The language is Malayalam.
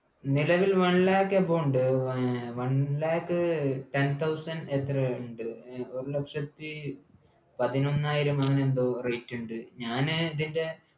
നിലവിൽ one lakh above ഉണ്ട് ഏർ one lakh ten thousand എത്രയോ ഉണ്ട് ഒരു ലക്ഷത്തി പതിനൊന്നായിരം അങ്ങനെ എന്തോ rate ഉണ്ട് ഞാന് ഇതിൻ്റെ